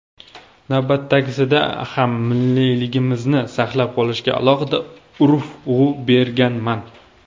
Navbatdagisida ham milliyligimizni saqlab qolishga alohida urg‘u berganman”.